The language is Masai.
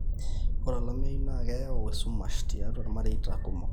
ore olameyu naa keyau esumash tiatua ilmareita kumok